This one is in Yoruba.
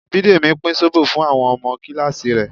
Bidemi pín zobo fún àwọn ọmọ kíláàsì rẹ̀